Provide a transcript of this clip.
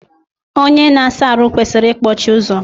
Onye na asa ahụ kwesịrị ikpọchi ụzọ.